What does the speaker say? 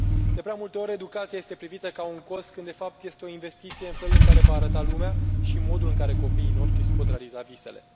De prea multe ori, educația este privită ca un cost, când, de fapt, este o investiție în felul în care va arăta lumea și modul în care copiii noștri își pot realiza visele.